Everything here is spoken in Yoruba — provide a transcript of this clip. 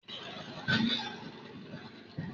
OAU ni ọba àwọn yunifásítì.